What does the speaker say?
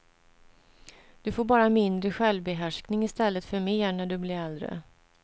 Du får bara mindre självbehärskning i stället för mer när du blir äldre.